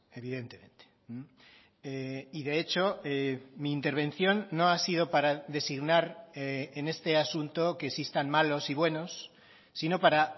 evidentemente y de hecho mi intervención no ha sido para designar en este asunto que existan malos y buenos sino para